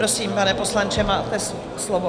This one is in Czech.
Prosím, pane poslanče, máte slovo.